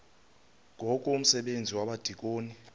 ngoku umsebenzi wabadikoni